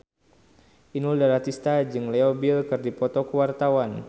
Inul Daratista jeung Leo Bill keur dipoto ku wartawan